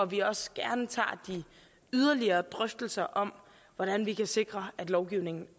vi også gerne tager de yderligere drøftelser om hvordan vi kan sikre at lovgivningen